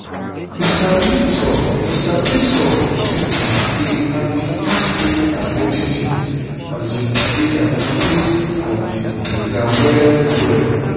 you sabi some sabi some pipo dey um use faith and medicine um together to feel um better well well.